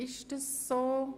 Ist dem so?